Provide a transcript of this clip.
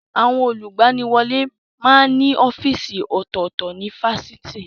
Àwọn olùgbaniwọlé máa ń ní ọ́fíìsì ọ̀tọ̀ọ̀tọ̀ ní Fáṣitì